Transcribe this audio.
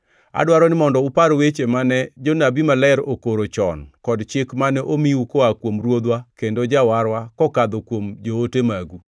Adwaro ni mondo upar weche mane jonabi maler okoro chon kod chik mane omiu koa kuom Ruodhwa kendo Jawarwa kokadho kuom joote magu.